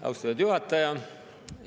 Austatud juhataja!